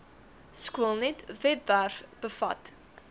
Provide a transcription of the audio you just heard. skoolnet webwerf bevat